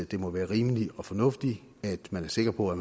det må være rimeligt og fornuftigt at man er sikker på at